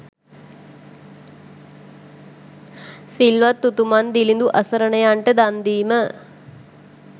සිල්වත් උතුමන්, දිළිඳු අසරණයන්ට දන්දීම